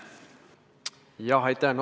Aitäh!